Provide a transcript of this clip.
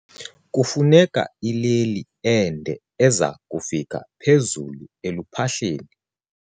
Kufuneka ileli ende eza kufika phezulu eluphahleni.